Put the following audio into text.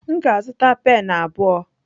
M ga-azụta pen abụọ.